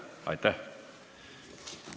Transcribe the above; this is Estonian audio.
Aitäh!